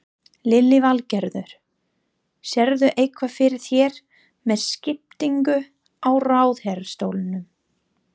Lillý Valgerður: Sérðu eitthvað fyrir þér með skiptingu á ráðherrastólum?